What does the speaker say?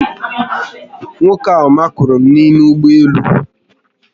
Nwoke a makụrụ m n'ime ụgbọélú